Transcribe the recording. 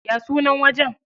Ya sunan wajen?